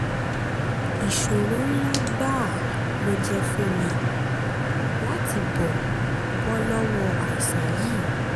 ìṣòro ńlá gbáà ló jẹ́ fún mi láti bọ́ bọ́ lọ́wọ́ àìsàn yìí